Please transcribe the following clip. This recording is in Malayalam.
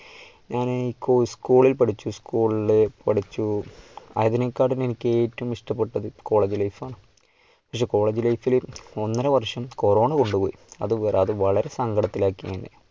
ഞാന് school ൽ പഠിച്ചു, school ള് പഠിച്ചു, അതിനേക്കാളും എനിക്ക് ഏറ്റവും ഇഷ്ടപ്പെട്ടത് college life ആണ്. പക്ഷേ college life ൽ ഒന്നരവർഷം കൊറോണ കൊണ്ടുപോയി. അത് അത് വളരെ സങ്കടത്തിൽ ആക്കി എന്നെ.